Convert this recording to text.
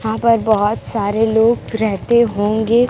वहां पर बहोत सारे लोग रहते होंगे--